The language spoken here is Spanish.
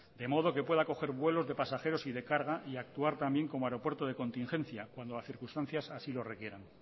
de modo que pueda acoger vuelos de pasajeros y de carga y actuar también como aeropuerto de contingencia cuando las circunstancias así lo requieran